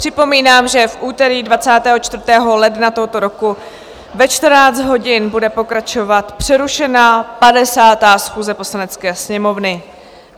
Připomínám, že v úterý 24. ledna tohoto roku ve 14 hodin bude pokračovat přerušená 50. schůze Poslanecké sněmovny.